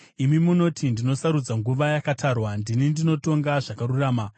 Imi munoti, “Ndinosarudza nguva yakatarwa; ndini ndinotonga zvakarurama.